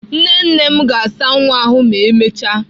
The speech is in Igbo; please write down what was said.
Nne nne m ga-asa nwa ahụ ma emechaa.